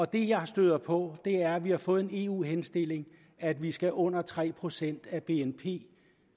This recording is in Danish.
det jeg støder på er at vi har fået en eu henstilling at vi skal under tre procent af bnp